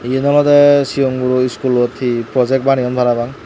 eyen olodey sigonguro schoolot hi projek baneyon parapang.